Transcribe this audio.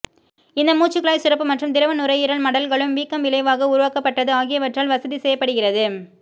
இந்த மூச்சுக்குழாய் சுரப்பு மற்றும் திரவ நுரையீரல் மடல்களும் வீக்கம் விளைவாக உருவாக்கப்பட்டது ஆகியவற்றால் வசதி செய்யப்படுகிறது